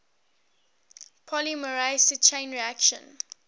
polymerase chain reaction